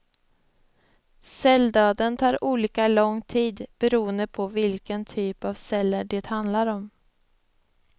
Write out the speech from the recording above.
Celldöden tar olika lång tid beroende på vilken typ av celler det handlar om.